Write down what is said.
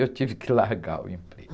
Eu tive que largar o emprego.